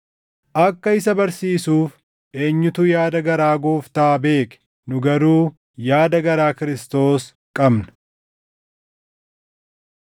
“Akka isa barsiisuuf, eenyutu yaada garaa Gooftaa beeke?” + 2:16 \+xt Isa 40:13\+xt* Nu garuu yaada garaa Kiristoos qabna.